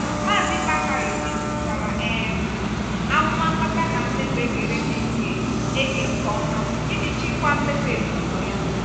mazi bakare mejupụtara um amụma mkpata na mmefu ekere eke nke eke nke ọma iji chịkwaa mmefu ezinụlọ ya.